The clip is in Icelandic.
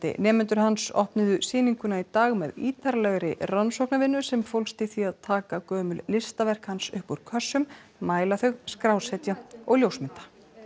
nemendur hans opnuðu sýninguna í dag með ítarlegri rannsóknarvinnu sem fólst í því að taka gömul listaverk hans upp úr kössum mæla þau skrásetja og ljósmynda